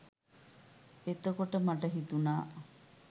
එතකොට මට හිතුනා